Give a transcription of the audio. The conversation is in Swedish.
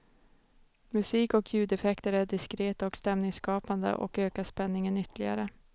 Musik och ljudeffekter är diskreta och stämningsskapande och ökar spänningen ytterligare.